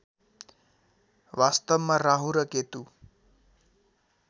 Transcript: वास्तवमा राहु र केतु